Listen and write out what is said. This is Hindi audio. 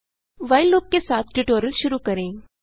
व्हाइल लूप के साथ ट्यूटोरियल शुरू करें